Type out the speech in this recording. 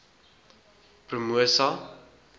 promosa